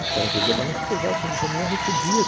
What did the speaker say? O cara trazia a balança e pesava, põe no caminhão e recebia.